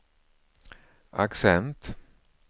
accent